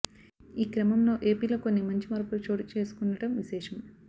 ఈ క్రమంలో ఏపీలో కొన్ని మంచి మార్పులు చోటు చేసుకుంటుండం విశేషం